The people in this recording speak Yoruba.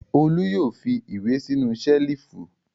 Olú yóò fi ìwé sínú ṣẹ́lífù!